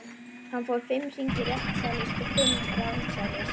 Hann fór fimm hringi réttsælis og fimm rangsælis.